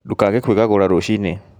Ndũkage kwĩgagũra rũcii-inĩ